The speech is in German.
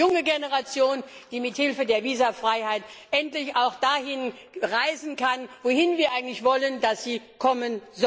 Es geht um die junge Generation, die mit Hilfe der Visafreiheit endlich auch dahin reisen kann, wohin wir wollen, dass sie kommen.